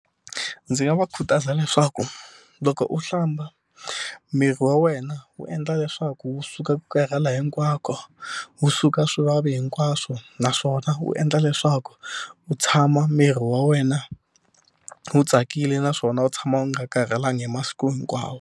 Ndzi nga va khutaza leswaku loko u hlamba miri wa wena wu endla leswaku wu suka ku karhala hinkwako wu suka swivavi hinkwaswo naswona wu endla leswaku u tshama miri wa wena wu tsakile naswona wu tshama wu nga karhalangi hi masiku hinkwawo.